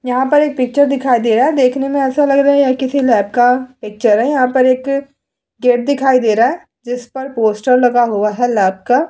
यहां पर एक पिक्चर दिखाई दे रहा है देखने में ऐसा लग रहा है यह किसी लैब का पिक्चर है यहां पर एक गेट दिखाई दे रहा है जिस पर पोस्टर लगा हुआ है लैब का |